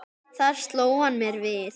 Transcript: Þar sló hann mér við.